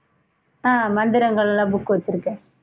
ஆஹ் மந்திரங்களாம் book வெச்சிருக்கேன்